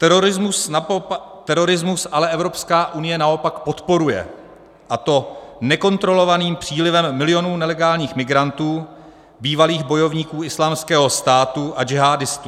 Terorismus ale Evropská unie naopak podporuje, a to nekontrolovaným přílivem milionů nelegálních migrantů, bývalých bojovníků Islámského státu a džihádistů.